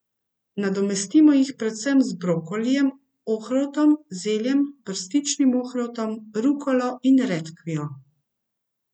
Nadomestimo jih predvsem z brokolijem, ohrovtom, zeljem, brstičnim ohrovtom, rukolo in redkvijo.